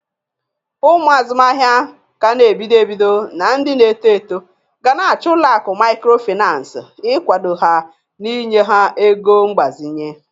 Ụmụ azụmahịa ka n'ebido ebido na ndị na-eto eto gana achọ ụlọakụ mikrofinas igwado ha na inye ha ego mgbazinye.